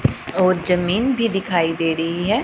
और जमीन भी दिखाई दे रही हैं।